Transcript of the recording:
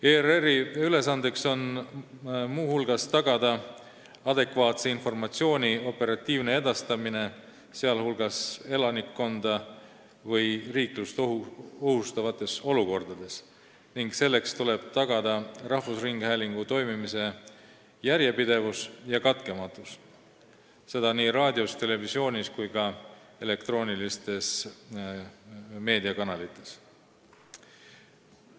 ERR-i ülesanne on muu hulgas tagada adekvaatse informatsiooni operatiivne edastamine, sh elanikkonda või riiklust ohustavates olukordades, ning selleks tuleb tagada rahvusringhäälingu toimimise järjepidevus ja katkematus, seda nii raadios, televisioonis kui ka elektroonilistes meediakanalites.